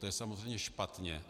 To je samozřejmě špatně.